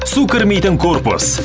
су кірмейтін корпус